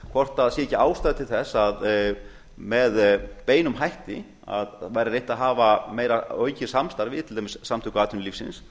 hvort sé ekki ástæða til þess að með beinum hætti að væri reynt að hafa meira aukið samstarf við til dæmis samtök atvinnulífsins